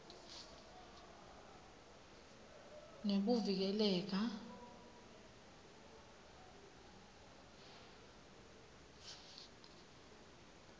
nekuvikeleka